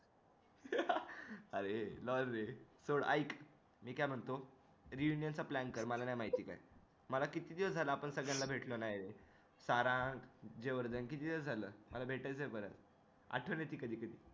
अरे नाय रे थोडं ऐक मी काय म्हणतो reunion चा plan कर मला नाही माहिती मला किती दिवस झाले आपण सगळ्यांना भेटलो नाय